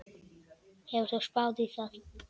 Hefur þú spáð í það?